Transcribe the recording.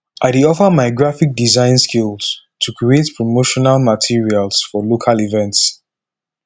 i dey offer my graphic design skills to create promotional materials for local events